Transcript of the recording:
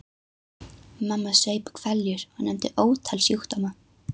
Mamma saup hveljur og nefndi ótal sjúkdóma.